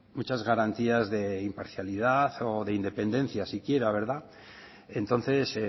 muchas garantías de imparcialidad o de independencia siquiera verdad entonces